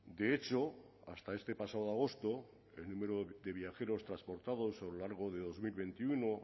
de hecho hasta este pasado agosto el número de viajeros transportados a lo largo de dos mil veintiuno